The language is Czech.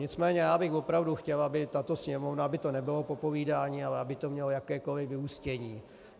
Nicméně já bych opravdu chtěl, aby tato Sněmovna - aby to nebylo popovídání, ale aby to mělo jakékoliv vyústění.